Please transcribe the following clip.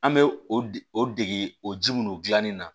An bɛ o dege o dege o ji minnu dilanni na